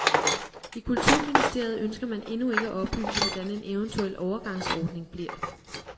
I kulturministeriet ønsker man endnu ikke at oplyse, hvordan en eventuel overgangsordning bliver.